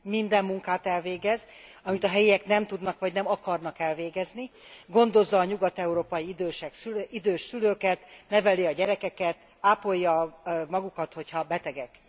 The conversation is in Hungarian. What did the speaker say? Minden munkát elvégez, amit a helyiek nem tudnak, vagy nem akarnak elvégezni, gondozza a nyugat európai idős szülőket, neveli a gyerekeket, ápolja magukat, hogyha betegek.